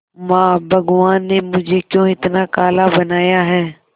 मां भगवान ने मुझे क्यों इतना काला बनाया है